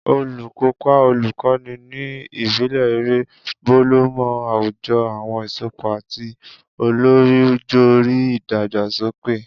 Olukopa olukoni ni ibile ere, bolomo awujo awọn isopọ ati olorijori idagbasoke.